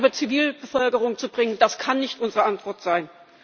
Leid über Zivilbevölkerung zu bringen, das kann nicht unsere Antwort sein.